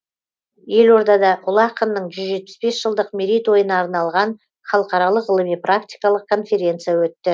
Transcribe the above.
елордада ұлы ақынның жүз жетпіс бес жылдық мерейтойына арналған халықаралық ғылыми практикалық конференция өтті